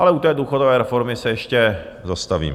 Ale u té důchodové reformy se ještě zastavím.